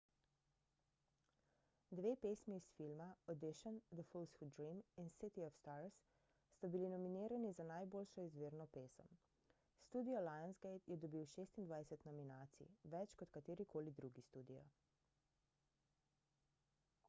dve pesmi iz filma audition the fools who dream in city of stars sta bili nominirani za najboljšo izvirno pesem. studio lionsgate je dobil 26 nominacij – več kot katerikoli drugi studio